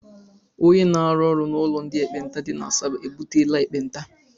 Ónyé na-arụ n' ụlọ ndị ekpenta dị n'Asaba ebutela ekpenta.